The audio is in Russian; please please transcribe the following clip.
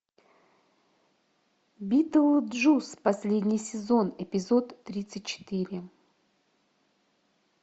битлджус последний сезон эпизод тридцать четыре